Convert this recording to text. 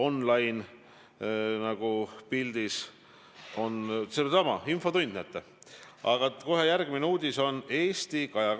No selgitan nii nagu teilegi siin rahulikult ja põhjendatult, mida see koalitsioon sidusa ühiskonna saavutamiseks teeb.